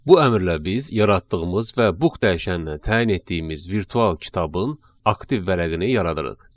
Bu əmrlə biz yaratdığımız və book dəyişəninə təyin etdiyimiz virtual kitabın aktiv vərəqini yaradırıq.